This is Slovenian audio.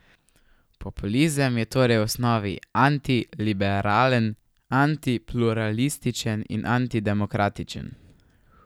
Populizem je torej v osnovi antiliberalen, antipluralističen in antidemokratičen.